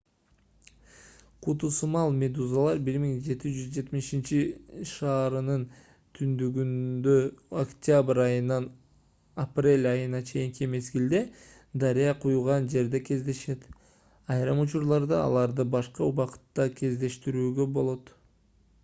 куту сымал медузалар 1770 шаарынын түндүгүндө октябрь айынан апрель айына чейинки мезгилде дарыя куйган жерде кездешет айрым учурларда аларды башка убакытта кездештирүүгө болот